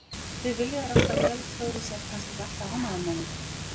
Þau vilja þér alltaf vel þó þú sért kannski ekki alltaf ánægður með þau.